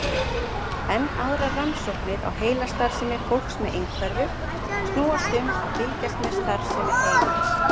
Enn aðrar rannsóknir á heilastarfsemi fólks með einhverfu snúast um að fylgjast með starfsemi heilans.